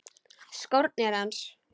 Skórnir hans.